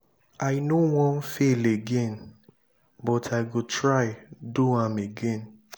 i no wan fail again but i go try do am again.